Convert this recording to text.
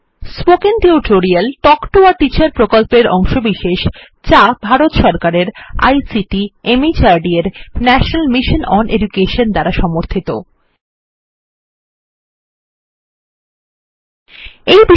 কথ্য tutorial project একটি শিক্ষক প্রকল্প থেকে টক শিক্ষা জাতীয় আইসিটি মাহর্দ ভারত সরকার মাধ্যমে মিশন দ্বারা সমর্থিত এর একটি অংশ